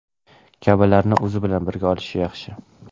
kabilarni o‘zi bilan birga olishi yaxshi.